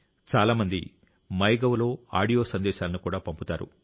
చాలా మంది MyGov లో ఆడియో సందేశాలను కూడా పంపుతారు